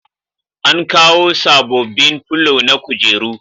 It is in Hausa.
An kawo sabobbin filo na kujeru